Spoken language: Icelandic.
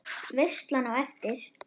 Veislan á eftir?